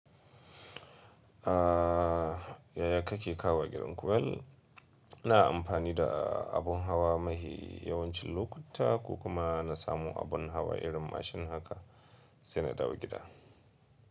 Yaya kake kawowa gidan ku? Ina amfani da abun hawa mafi yawancin lokuta ko kuma na samu abun hawa irin mashin haka sai na dawo gida.